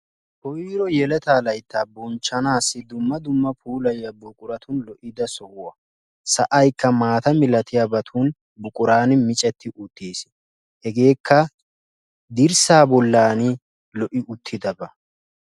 koyiro yeletaa layittaa bonchchanaassi dumma dumma puulayiya buquratun lo'idda sohuwa. Sa'ayikka maata malatiyabatun buquraani micetti uttis. Hegeekka dirssaa bollaani giigi uttidaba.